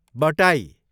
बटाई